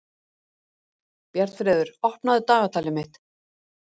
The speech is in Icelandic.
Bjarnfreður, opnaðu dagatalið mitt.